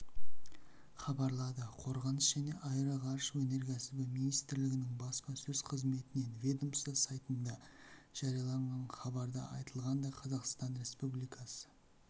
хабарлады қорғаныс және аэроғарыш өнеркәсібі министрлігінің баспасөз қызметінен ведомство сайтында жарияланған хабарда айтылғандай қазақстан республикасы